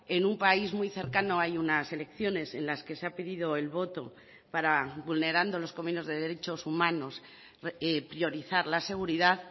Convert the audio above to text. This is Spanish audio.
en un país muy cercano hay unas elecciones en las que se ha pedido el voto para vulnerando los convenios de derechos humanos priorizar la seguridad